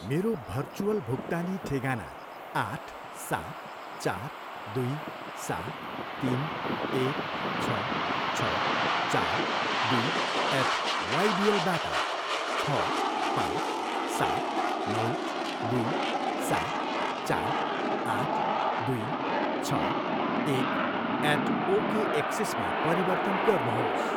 मेरो भर्चुअल भुक्तानी ठेगाना आठ, सात, चार, दुई, सात, तिन, एक, छ, छ, चार, दुई एट वाइबिएलबाट छ पाँच सात नौ दुई सात चार आठ दुई छ एक एट ओकेएक्सिसमा परिवर्तन गर्नुहोस्।